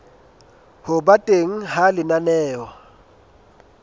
ho ba teng ha lenaneo